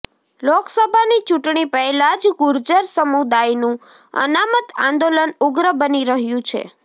લોકસભાની ચૂંટણી પહેલા જ ગુર્જર સમુદાયનું અનામત આંદોલન ઉગ્ર બની રહ્યું છે